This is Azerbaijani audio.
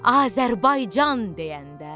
Azərbaycan deyəndə.